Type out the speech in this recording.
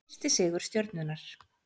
Fyrsti sigur Stjörnunnar